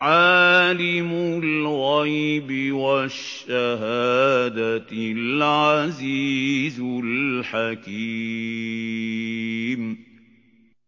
عَالِمُ الْغَيْبِ وَالشَّهَادَةِ الْعَزِيزُ الْحَكِيمُ